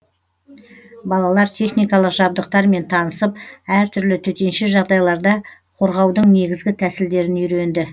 балалар техникалық жабдықтармен танысып әртүрлі төтенше жағдайларда қорғаудың негізгі тәсілдерін үйренді